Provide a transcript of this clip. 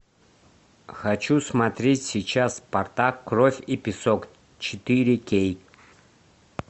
хочу смотреть сейчас спартак кровь и песок четыре кей